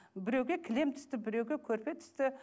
біреуге кілем түсті біреуге көрпе түсті